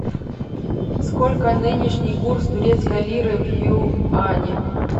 сколько нынешний курс турецкой лиры в юани